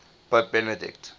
pope benedict